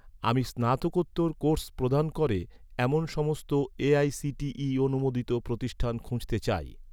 আমি স্নাতকোত্তর কোর্স প্রদান করে, এমন সমস্ত এআইসিটিই অনুমোদিত প্রতিষ্ঠান খুঁজতে চাই